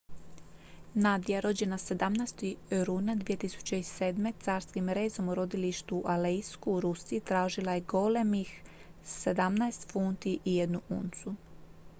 nadia rođena 17. rujna 2007. carskim rezom u rodilištu u aleisku u rusiji težila je golemih 17 funti i 1 uncu